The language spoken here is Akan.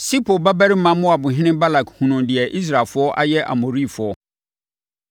Sipor babarima Moabhene Balak hunuu deɛ Israelfoɔ ayɛ Amorifoɔ.